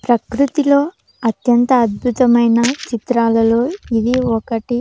ప్రకృతిలో అత్యంత అద్భుతమైన చిత్రాలలో ఇది ఒకటి.